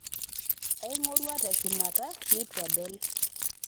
aing'orua teshumata nitu adol